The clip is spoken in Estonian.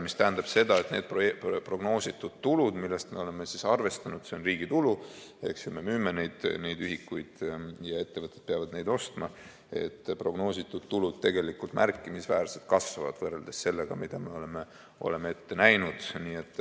See tähendab, et need prognoositud tulud, mille puhul me oleme arvestanud, et see on riigi tulu, me müüme neid ühikuid ja ettevõtted peavad neid ostma, et prognoositud tulud tegelikult märkimisväärselt kasvavad võrreldes sellega, mida me oleme ette näinud.